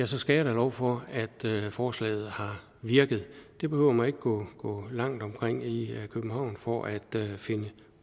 så skal jeg da love for at forslaget har virket det behøver man ikke gå langt omkring i københavn for at finde